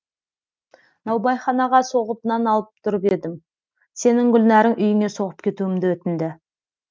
наубайханаға соғып нан алып тұрып едім сенің гүлнәрің үйіңе соғып кетуімді өтінді